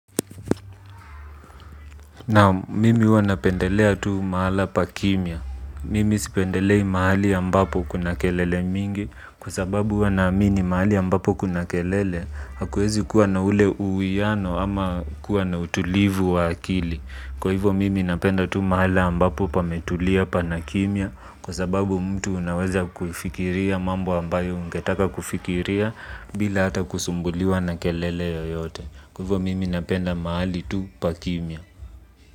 Naam mimi huwa napendelea tu mahala pakimya. Mimi sipendelei mahali ambapo kuna kelele mingi kwa sababu huwa naamini mahali ambapo kuna kelele hakuwezi kuwa na ule uuiano ama kuwa na utulivu wa akili. Kwa hivo mimi napenda tu mahala ambapo pametulia pa na kimia kwa sababu mtu unaweza kufikiria mambo ambayo ungetaka kufikiria bila hata kusumbuliwa na kelele yoyote. Kwa hivyo mimi napenda mahali tu pa kimia.